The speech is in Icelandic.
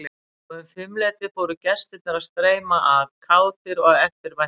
Og um fimmleytið fóru gestirnir að streyma að, kátir og eftirvæntingarfullir.